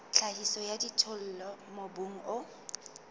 tlhahiso ya dijothollo mobung o